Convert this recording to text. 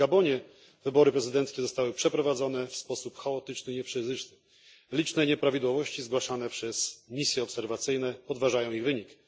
W Gabonie wybory prezydenckie zostały przeprowadzone w sposób chaotyczny, liczne nieprawidłowości zgłaszane przez misje obserwacyjne podważają ich wynik.